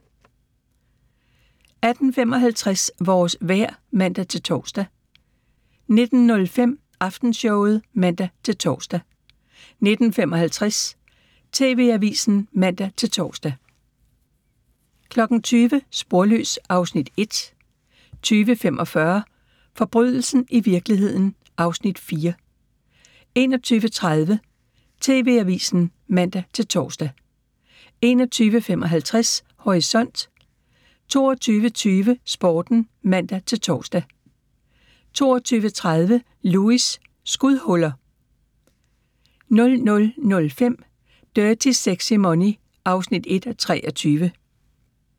18:55: Vores vejr (man-tor) 19:05: Aftenshowet (man-tor) 19:55: TV-avisen (man-tor) 20:00: Sporløs (Afs. 1) 20:45: Forbrydelsen i virkeligheden (Afs. 4) 21:30: TV-avisen (man-tor) 21:55: Horisont 22:20: Sporten (man-tor) 22:30: Lewis: Skudhuller 00:05: Dirty Sexy Money (1:23)